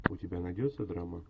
у тебя найдется драма